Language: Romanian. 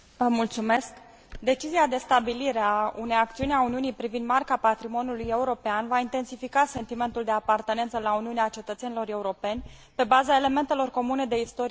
Decizia de stabilire a unei acțiuni a Uniunii privind Marca patrimoniului european va intensifica sentimentul de apartenență la Uniune al cetățenilor europeni, pe baza elementelor comune de istorie și patrimoniu.